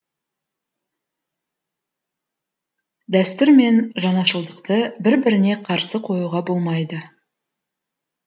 дәстүр мен жаңашылдықты бір біріне қарсы қоюға болмайды